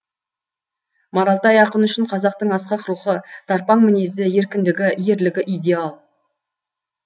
маралтай ақын үшін қазақтың асқақ рухы тарпаң мінезі еркіндігі ерлігі идеал